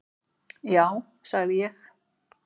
Já sagði ég.